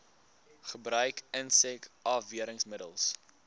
gebruik insek afweermiddels